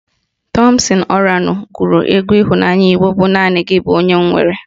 Tọmpsịn Ọranụ gụrụ egwu ịhụnanya Igbo bụ "Naanị gị bụ onye m nwere"